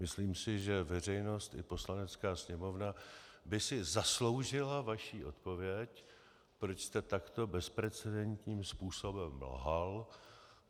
Myslím si, že veřejnost i Poslanecká sněmovna by si zasloužily vaši odpověď, proč jste takto bezprecedentním způsobem lhal.